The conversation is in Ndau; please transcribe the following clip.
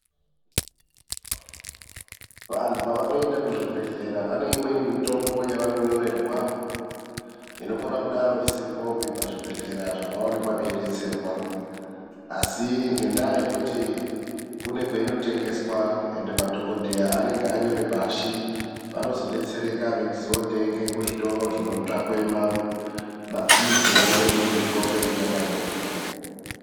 Vantu pavanoenda kuzvibhedhlera vaneimweni mitombo yavanonyorerwa inokona kudaro isiripopi pazvibhedhlera zvavaonekwa veidetserwa, asi ngendaya yekuti kune kwainotengeswa madhokotera anenge anyore pashi vanozodetsereka veindotenga kuzvitoro zvinotsvakwe ma pilisiwo neimweni mitombo inenge yakanyorerrwepo. .